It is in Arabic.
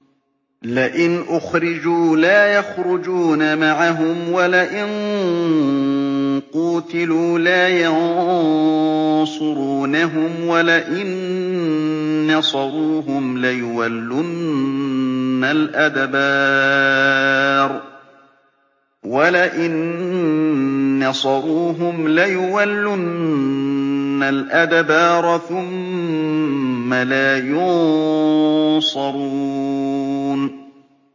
لَئِنْ أُخْرِجُوا لَا يَخْرُجُونَ مَعَهُمْ وَلَئِن قُوتِلُوا لَا يَنصُرُونَهُمْ وَلَئِن نَّصَرُوهُمْ لَيُوَلُّنَّ الْأَدْبَارَ ثُمَّ لَا يُنصَرُونَ